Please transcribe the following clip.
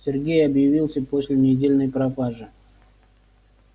сергей объявился после недельной пропажи